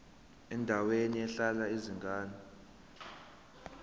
endaweni ehlala izingane